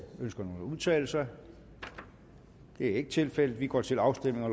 ønsker nogen at udtale sig det er ikke tilfældet og vi går til afstemning